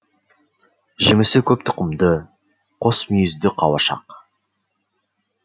жемісі көп тұқымды қос мүйізді қауашақ